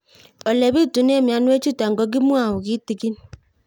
Ole pitune mionwek chutok ko kimwau kitig'ín